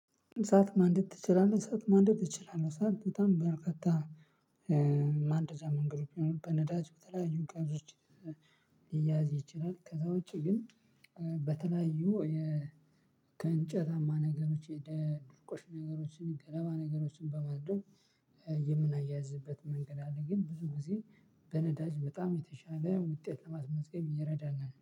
እሳት ማንደድ ትችላለህ? እሳት ማንደድ እችላለሁ እሳት በጣም በርካታ ማንደጃ መንገዶች አሉ በነዳጅ በተለያዩ ቀንዞች ሊያያዝ ይችላል። ከዛ ውጪ ግን። በተለያዩ የ ከእንጨታማ ነገሮች ድርቆሽ ነገሮችን ገለባ ነገሮችን በማድረግ የምናያይዝበት መንገድ አለ። ግን ብዙ ጊዜ በነዳጅ በጣም የተሻለ ውጤት ለማስመዝገብ ይረዳናል ነው